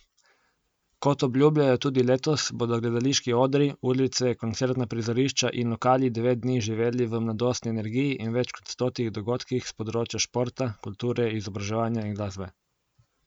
Kot obljubljajo tudi letos, bodo gledališki odri, ulice, koncertna prizorišča in lokali devet dni živeli v mladostni energiji in več kot stotih dogodkih s področja športa, kulture, izobraževanja in glasbe.